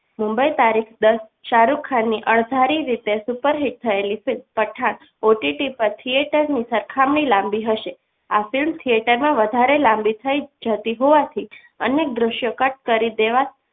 મુંબઈ તારીખ દસ શાહરુખ ખાનની અણધારી રીતે hit થયેલી film પઠાણ OTT પર theatre ની સરખામણીએ લાંબી હશે આ film theatre માં વધારે લાંબી થઈ જતી હોવાથી અનેક દ્રશ્યો કટ કરી દેવામાં